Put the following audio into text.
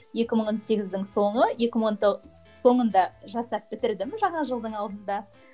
екі мың он сегіздің соңы екі мың он соңында жасап бітірдім жаңа жылдың алдында